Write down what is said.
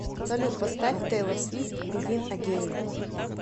салют поставь тэйлор свифт бегин эгейн